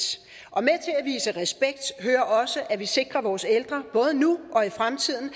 og vise respekt hører også at vi sikrer at vores ældre både nu og i fremtiden